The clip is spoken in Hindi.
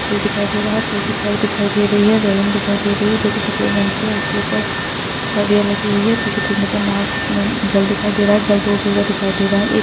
पूल दिखाई दे रहा है पूल की सड़क दिखाई दे रही है रेलिंग दिखाई दे रही है जो की सफेद रंग की है उसके ऊपर सरिया लगी हुई है पीछे देखने पर नाग-नन जल दिखाई दे रहा है जल दूर दूर तक दिखाई दे रहा है ए --